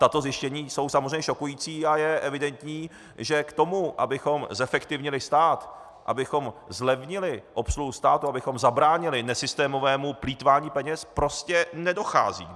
Tato zjištění jsou samozřejmě šokující a je evidentní, že k tomu, abychom zefektivnili stát, abychom zlevnili obsluhu státu, abychom zabránili nesystémovému plýtvání peněz, prostě nedochází.